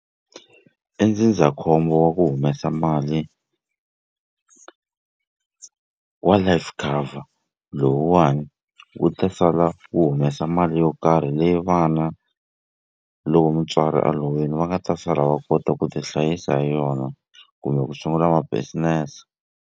I ndzindzakhombo wa ku humesa mali wa life cover lowuwani wu ta sala wu humesa mali yo karhi leyi vana loko mutswari a lovile va nga ta sala va kota ku ti hlayisa hi yona kumbe ku sungula ma business.